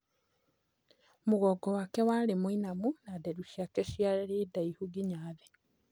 Mũgongo wake warĩ mũinamu na nderu ciake ciarĩ ndaihu nginya thĩ.